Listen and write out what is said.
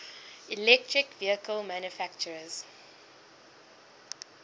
electric vehicle manufacturers